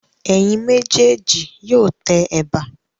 Ẹ̀yin méjèèjì yóò tẹ ẹ̀bà.